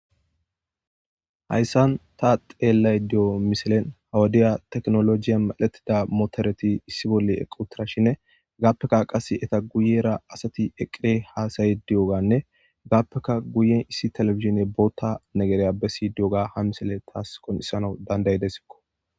hayssan ta xeellay diyo miselen hawadiya teknolojiya malettida motereti issi bolle equ tirashinne gaappeka qas eta guyera asati eqqie haasayi di7oganne gaappeka guyen issi telefizine bootta negereya bessi diyoga ha misele taas qonisana dandayidesikko